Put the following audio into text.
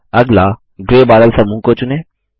अगला ग्रै बादल समूह को चुनें